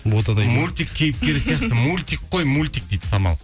мультик кейіпкері сияқты мультик қой мультик дейді самал